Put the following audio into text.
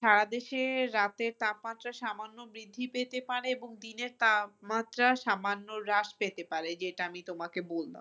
সারাদেশে রাতের তাপমাত্রা সামান্য বৃদ্ধি পেতে পারে এবং দিনে তাপমাত্রা সামান্য হ্রাস পেতে পারে যেটা আমি তোমাকে বললাম।